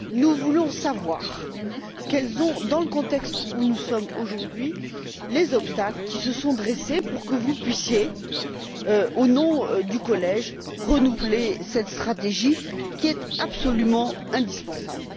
Nous voulons savoir quels ont été, dans le contexte où nous sommes aujourd'hui, les obstacles qui se sont dressés pour que vous puissiez, au nom du collège, renouveler cette stratégie qui est absolument indispensable.